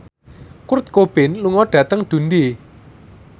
Kurt Cobain lunga dhateng Dundee